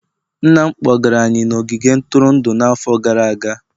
Nna m kpọgara anyị n'ogige ntụrụndụ n'afọ gara aga